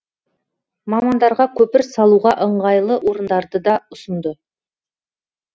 мамандарға көпір салуға ыңғайлы орындарды да ұсынды